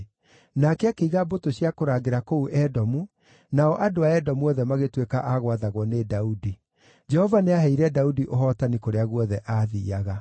Nake akĩiga mbũtũ cia kũrangĩra kũu Edomu nao andũ a Edomu othe magĩtuĩka a gwathagwo nĩ Daudi. Jehova nĩaheire Daudi ũhootani kũrĩa guothe aathiiaga.